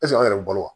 an yɛrɛ bɛ balo wa